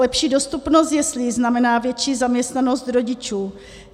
Lepší dostupnost jeslí znamená větší zaměstnanost rodičů.